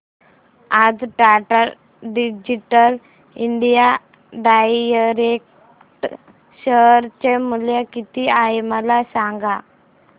आज Tata digital India direct share चे मूल्य किती आहे मला सांगा